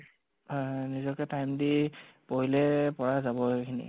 হয় হয় নিজকে time দি পঢ়িলে পৰা যাব সেই খিনি